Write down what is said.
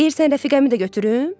Deyirsən rəfiqəmi də götürüm?